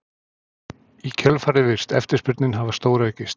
Í kjölfarið virðist eftirspurnin hafa stóraukist.